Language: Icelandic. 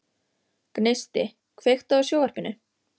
Gneisti, kveiktu á sjónvarpinu.